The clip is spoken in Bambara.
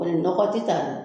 O nin nɔgɔ tɛ ta